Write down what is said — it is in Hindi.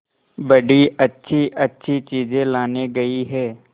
बड़ी अच्छीअच्छी चीजें लाने गई है